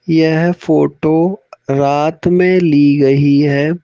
यह फोटो रात में ली गई है।